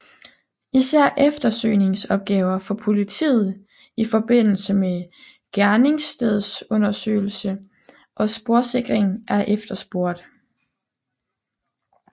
Især eftersøgningsopgaver for politiet ifm gerningsstedsundersøgelse og sporsikring er efterspurgt